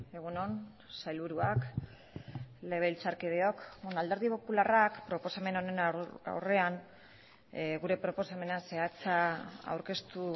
egun on sailburuak legebiltzarkideok alderdi popularrak proposamen honen aurrean gure proposamena zehatza aurkeztu